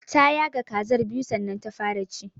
Ta yaga kazar biyu sannan ta fara ci.